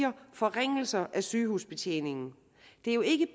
om forringelser af sygehusbetjeningen det er jo ikke